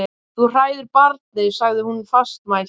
Þú hræðir barnið, sagði hún fastmælt.